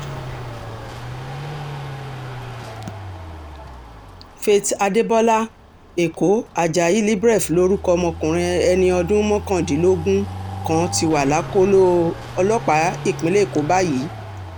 faith adébọlá ẹ̀kọ́ ajayi libreef lorúkọ ọmọkùnrin ẹni ọdún mọ́kàndínlógún kan ti wà lákọlò ọlọ́pàá ìpínlẹ̀ èkó báyìí